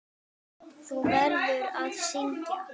Þú verður að syngja.